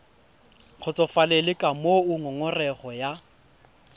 kgotsofalele ka moo ngongorego ya